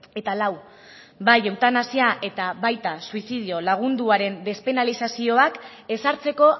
eta lau bai eutanasia eta baita suizidio lagunduaren despenalizazioak ezartzeko